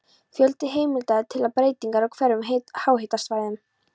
Fjöldi heimilda er til um breytingar á hverum á háhitasvæðum.